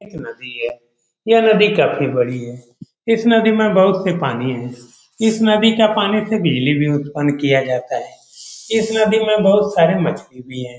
एक नदी है यह नदी काफी बड़ी है इस नदी में बहुत से पानी है इस नदी का पानी से बिजली भी उत्पन्न किया जाता है इस नदी में बहुत सारे मछली भी है।